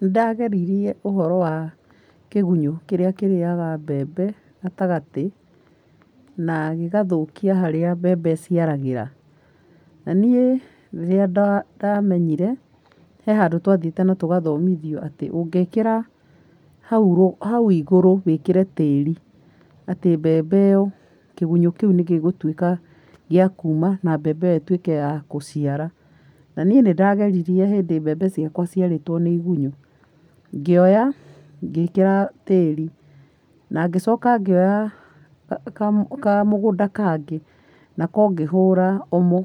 Nĩndageririe ũhoro wa kĩgunyũ kĩrĩa kĩrĩaga mbembe gatagatĩ, na gĩgathũkia harĩa mbembe ĩciaragĩra. Na nĩ rĩrĩa ndamenyire he handũ twathiĩte na tũgathonithio atĩ ũngĩkĩra hau hau igũrũ wĩkĩre tĩri, atĩ mbembe ĩyo kĩgunyũ kĩu nĩgĩgũtuika gĩa kuma na mbembe ĩyo ĩtuĩke ya gũciara. Na niĩ nĩnda geririe hĩndĩ ĩmwe mbembe ciakwa ciarĩtwo nĩ igunyũ ngioya, ngĩkĩra tĩri na ngĩcoka ngĩoya ka kamũ kamũgũnda kangĩ nako ngĩhũra OMO